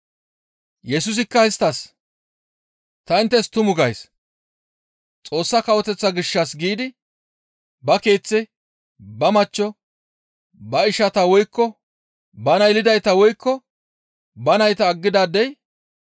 Yesusikka isttas, «Ta inttes tumu gays; Xoossa Kawoteththa gishshas giidi ba keeththe, ba machcho, ba ishantta woykko bana yelidayta woykko ba nayta aggidaadey,